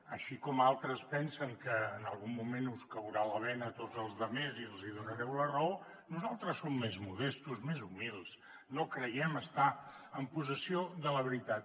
així com altres pensen que en algun moment us caurà la bena a tots els altres i ens donareu la raó nosaltres som més modestos més humils no creiem estar en possessió de la veritat